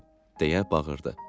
deyə bağırdı.